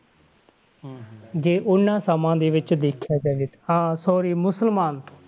ਜੇ ਉਹਨਾਂ ਸਮਿਆਂ ਦੇ ਵਿੱਚ ਦੇਖਿਆ ਜਾਵੇ ਤੇ ਹਾਂ sorry ਮੁਸਲਮਾਨ ਤੋਂ।